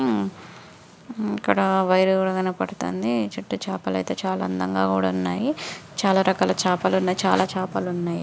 ఉమ్ ఇక్కడ వైరు కూడా కనబడుతుంది. చుట్టూ చేపలు అయితే చాలా రకాల చేపలు ఉన్నాయి. చాలా చేపలు ఉన్నాయి.